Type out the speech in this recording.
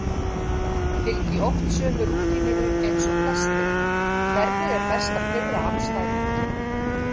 Fylgi oft sömu rútínunni eins og flestir Hvernig er best að pirra andstæðinginn?